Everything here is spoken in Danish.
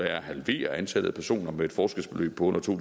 er at halvere antallet af personer med et forskelsbeløb på under to